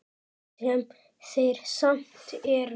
Sem þeir samt eru.